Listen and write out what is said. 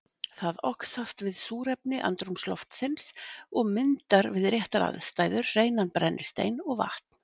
Það oxast við súrefni andrúmsloftsins og myndar við réttar aðstæður hreinan brennistein og vatn.